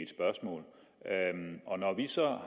spørgsmål og når vi så er